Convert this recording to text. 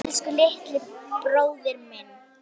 Elsku litli, stóri bróðir minn.